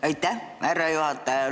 Aitäh, härra juhataja!